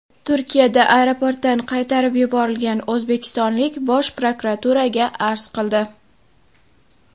Turkiyada aeroportdan qaytarib yuborilgan o‘zbekistonlik Bosh prokuraturaga arz qildi .